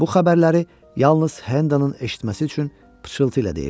Bu xəbərləri yalnız Hendanın eşitməsi üçün pıçıltı ilə deyirdi.